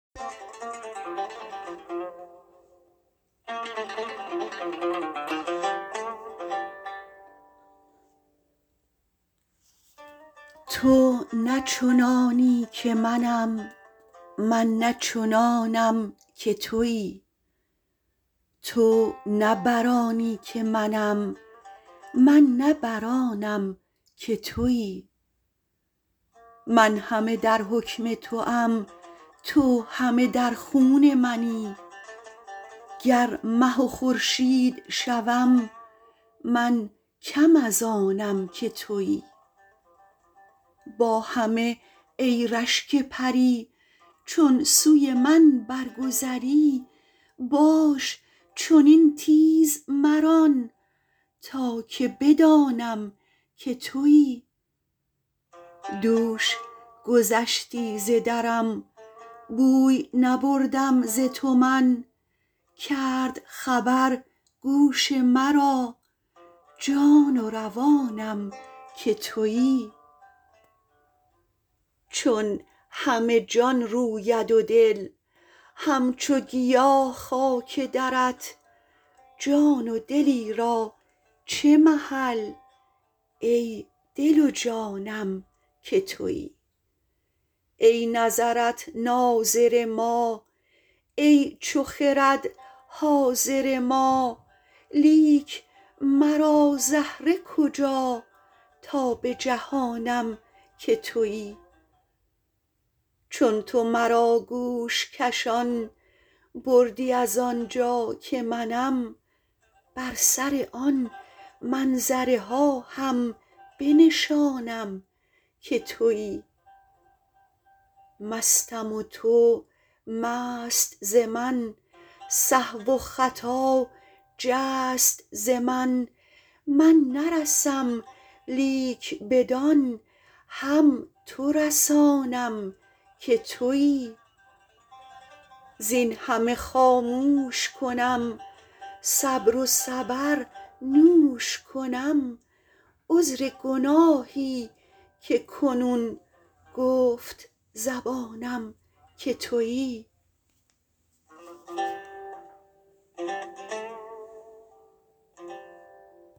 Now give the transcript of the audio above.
تو نه چنانی که منم من نه چنانم که تویی تو نه بر آنی که منم من نه بر آنم که تویی من همه در حکم توام تو همه در خون منی گر مه و خورشید شوم من کم از آنم که تویی با همه ای رشک پری چون سوی من برگذری باش چنین تیز مران تا که بدانم که تویی دوش گذشتی ز درم بوی نبردم ز تو من کرد خبر گوش مرا جان و روانم که تویی چون همه جان روید و دل همچو گیا خاک درت جان و دلی را چه محل ای دل و جانم که تویی ای نظرت ناظر ما ای چو خرد حاضر ما لیک مرا زهره کجا تا بجهانم که تویی چون تو مرا گوش کشان بردی از آن جا که منم بر سر آن منظره ها هم بنشانم که تویی مستم و تو مست ز من سهو و خطا جست ز من من نرسم لیک بدان هم تو رسانم که تویی زین همه خاموش کنم صبر و صبر نوش کنم عذر گناهی که کنون گفت زبانم که تویی